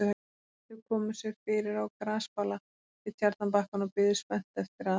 Þau komu sér fyrir á grasbala við tjarnarbakkann og biðu spennt eftir að